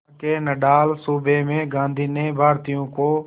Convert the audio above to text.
वहां के नटाल सूबे में गांधी ने भारतीयों को